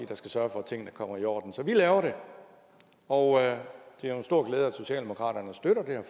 der skal sørge for at tingene kommer i orden så vi laver det og det er en stor glæde at socialdemokratiet støtter det her